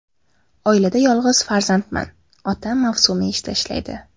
Oilada yolg‘iz farzandman, otam mavsumiy ishda ishlaydi.